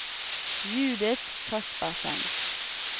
Judith Kaspersen